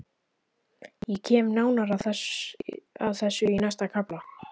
Ég kem nánar að þessu í næsta kafla.